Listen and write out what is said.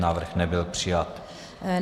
Návrh nebyl přijat.